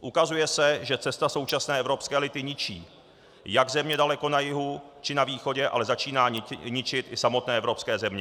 Ukazuje se, že cesta současné evropské elity ničí jak země daleko na jihu či na východě, ale začíná ničit i samotné evropské země.